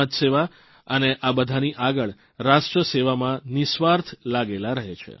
જે જનસેવા સમાજસેવા અને આ બધાની આગળ રાષ્ટ્રસેવામાં નિસ્વાર્થ લાગેલા રહે છે